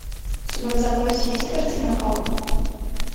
у тебя в запасе есть картина халк